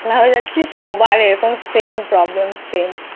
টাকলা হয়ে যাচ্ছি সবার এরকম Same problem